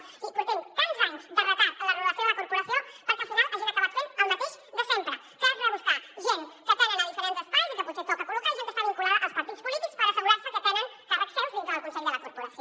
és a dir portem tants anys de retard en la renovació de la corporació perquè al final hagin acabat fent el mateix de sempre que és rebuscar gent que tenen a diferents espais i que potser toca col·locar i gent que està vinculada als partits polítics per assegurar se que tenen càrrecs seus dintre del consell de la corporació